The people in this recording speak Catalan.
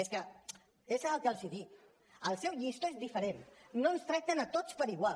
és que és el que els dic el seu llistó és diferent no ens tracten a tots igual